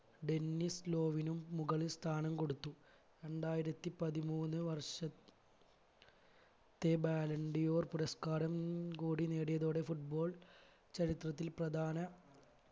Dennis ലോവിനും മുകളിൽ സ്ഥാനം കൊടുത്തു രണ്ടായിരത്തി പതിമൂന്ന് വർഷ ത്തെ ballon d'or പുരസ്‌കാരം കൂടി നേടിയതോടെ football ചരിത്രത്തിൽ പ്രധാന